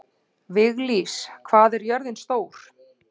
Viglís, hvað er jörðin stór?